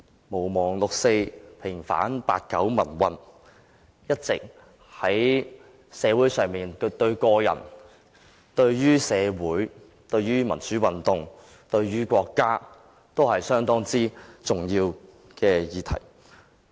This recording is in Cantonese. "毋忘六四，平反八九民運"，在社會上對於個人、對於社會、對於民主運動和對於國家，一直是一項相當重要的議題。